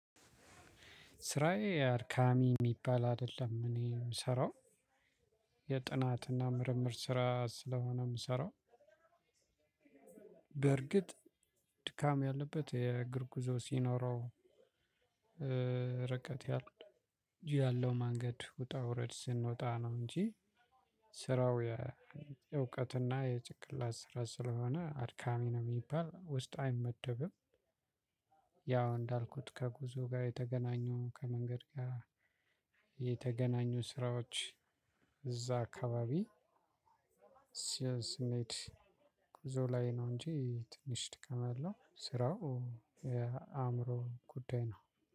ስራዬ አድካሚ የሚባል አይደለም እኔ የምሰራው የጥናትና ምርምር ስራ ስለሆነ የምሰራው በርግጥ ድካም ያለበት የእግር ጉዞ ሲኖረው ርቀት ያለው መንገድ ውጣ ውረድ ስንወጣ ነው እንጂ ስራው የእውቀትና የጭቅላት ስራ ስለሆነ አድካሚ ነው የሚባል ውስጥ አይመደብም። ያው እንዳልኩት ከጉዞ ጋር የተገናኙ ከመንገድ ጋር የተገናኙ ስራዎች እዛ አካባቢ። ስንሄድ ጉዞ ላይ ነው እንጂ ትንሽ ድካም ያለው ስራው የአእምሮ ጉዳይ ነው